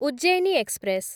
Ujjaini express